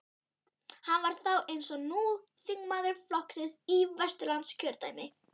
Hann var þá, eins og nú, þingmaður flokksins í Vesturlandskjördæmi.